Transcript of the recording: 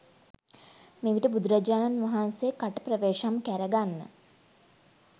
මෙවිට බුදුරජාණන් වහන්සේ කට ප්‍රවේශම් කැර ගන්න